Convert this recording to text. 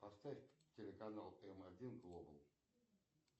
поставь телеканал м один глобал